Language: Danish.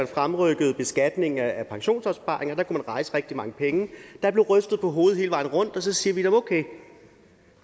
fremrykke beskatningen af pensionsopsparingerne der man rejse rigtig mange penge der bliver rystet på hovedet hele vejen rundt og så siger vi okay